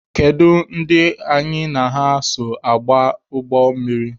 Kedu ndị anyị na ha so aba ụgbọ mmiri?